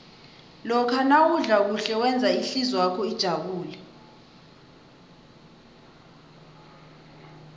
lokha nawudla kuhle wenza ihlizwakho ijabule